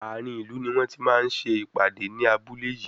Àárín ìlú ni wọ́n ti máa ń ṣe ìpàdé ní abúlé yìí.